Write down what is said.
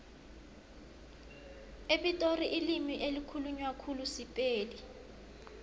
epitori ilimi elikhulunywa khulu sipedi